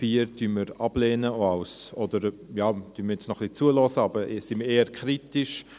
Den Punkt 4 lehnen wir ab, oder wir hören jetzt noch ein bisschen zu, aber wir sind eher kritisch.